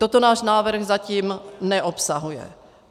Toto náš návrh zatím neobsahuje.